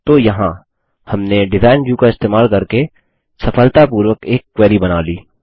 तो यहाँ हमने डिज़ाइन व्यू का इस्तेमाल करके सफलतापूर्वक एक क्वेरी बना ली